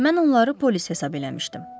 Mən onları polis hesab eləmişdim.